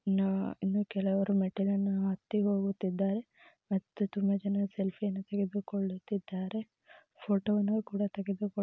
ನಾ ಇನ್ನೂ ಕೆಲವರು ಮೆಟ್ಟಳನ್ನು ಹತ್ತಿ ಹೋಗುತ್ತಿದ್ದಾರೆ ಮತ್ತು ತುಂಬಾ ಜನರು ಸೇಲ್ಫಿ ಯನ್ನು ತೆಗೆದುಕೊಳ್ಳುತಿದ್ದಾರೆ ಫೋಟೋನ ಕೂಡ ತೆಗೆದುಕೊಳ್ಳು--